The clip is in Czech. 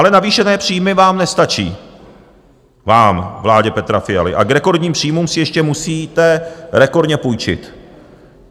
Ale navýšené příjmy vám nestačí, vám, vládě Petra Fialy, a k rekordním příjmům si ještě musíte rekordně půjčit.